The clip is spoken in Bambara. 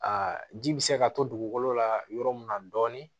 Aa ji bɛ se ka to dugukolo la yɔrɔ mun na dɔɔnin